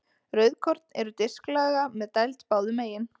Rauðkorn eru disklaga með dæld báðum megin.